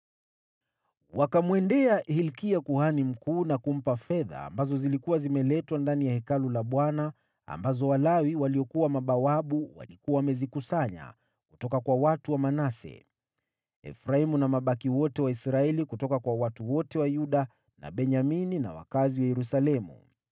Wakamwendea Hilkia kuhani mkuu na kumpa fedha ambazo zilikuwa zimeletwa ndani ya Hekalu la Bwana ambazo Walawi waliokuwa mabawabu walikuwa wamezikusanya kutoka kwa watu wa Manase, Efraimu na mabaki wote wa Israeli kutoka kwa watu wote wa Yuda na Benyamini na wakazi wa Yerusalemu.